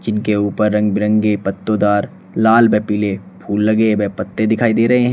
इनके ऊपर रंग बिरंगे पत्तोदर लाल व पीले फूल लगे हैं व पत्ते दिखाई दे रहे हैं।